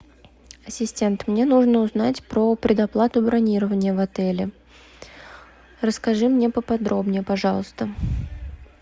ассистент мне нужно узнать про предоплату бронирования в отеле расскажи мне поподробнее пожалуйста